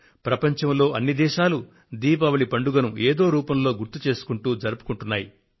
ప్రపంచంలో అన్ని దేశాలు దీపావళి పండుగను ఏదో రూపంలో గుర్తు చేస్తూ జరుపుకుంటున్నాయి